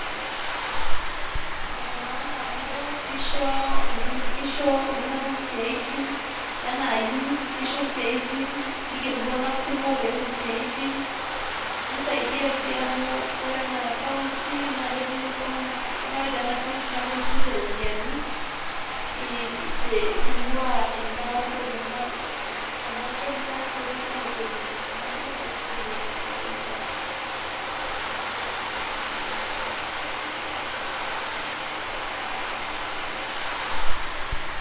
Ene maana amu kisho kisho iltunganak isiatin anaa youth kisho isiaitin ,kiger iltunganak kumok petum isiatin nisaidia si amu ore ena county naa ketum county naa ketu matejo anaa county naa ketum sii ninche iropiyiani ingwaa ena toki ena kenya revenue authority niaku kisaidia oleng ewuei sapuk.